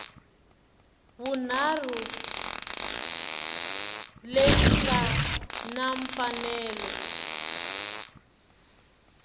vunharhu leyi nga na mfanelo